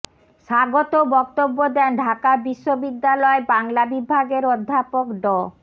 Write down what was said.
স্বাগত বক্তব্য দেন ঢাকা বিশ্ববিদ্যালয় বাংলা বিভাগের অধ্যাপক ড